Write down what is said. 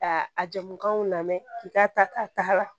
A a jamukanw lamɛn k'i k'a ta k'a ta